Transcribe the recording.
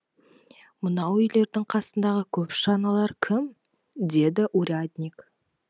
мынау үйлердің қасындағы көп шаналар кім деді урядник